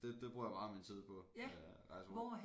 Det det bruger jeg meget af min tid på øh rejse rundt